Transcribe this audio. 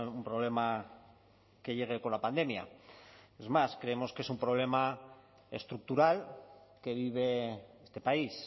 un problema que llegue con la pandemia es más creemos que es un problema estructural que vive este país